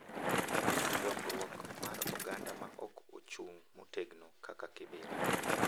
Dongruok mar oganda ma ok ochung' motegno kaka Kibera